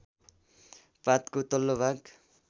पातको तल्लो भाग